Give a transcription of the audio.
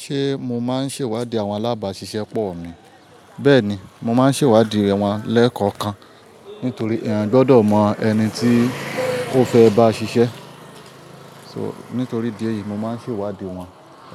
Ṣé mo máa ń ṣèwádìí àwọn alábàáṣiṣẹ́ pọ̀ mi? Bẹ́ẹ̀ni, mo máa ń ṣèwádìí wọn lẹ́ẹ̀kọ̀kan nítorí èèyàn gbọdọ̀ mọ ẹni tí ó fẹ́ bá ṣiṣẹ́. So, nítorí di ẹ yìí mo máa ń ṣèwádìí wọn.